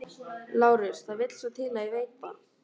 LÁRUS: Það vill svo til að ég veit það.